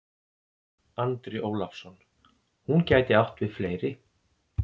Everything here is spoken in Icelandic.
Andri Ólafsson: Hún gæti átt við fleiri?